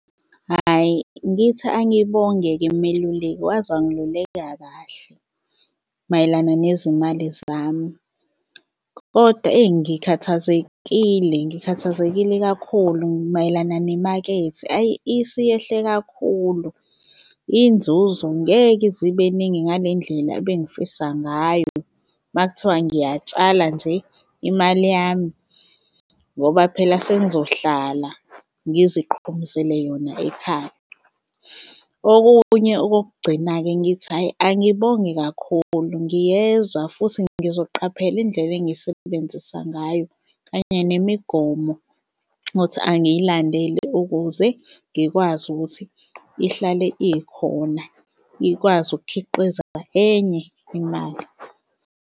Hhayi, ngithi angibonge-ke meluleki waze wangiluleka kahle mayelana nezimali zami. Kodwa, eyi, ngikhathazekile, ngikhathazekile kakhulu mayelana nemakethe, ayi isiyehle kakhulu. Inzuzo ngeke ize ibeningi ngale ndlela ebengifisa ngayo, uma kuthiwa ngiyatshala nje imali yami ngoba phela sengizohlala ngiziqhumuzele yona ekhaya. Okunye okokugcina-ke ngithi, hhayi, angibonge kakhulu ngiyezwa futhi ngizoqaphela indlela engisebenzisa ngayo kanye nemigomo othi angiyilandele ukuze ngikwazi ukuthi ihlale ikhona, ikwazi ukukhiqiza enye imali.